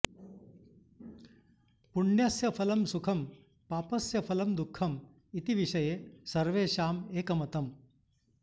पुण्यस्य फलं सुखं पापस्य फलं दुःखम् इति विषये सर्वेषाम् एकमतम्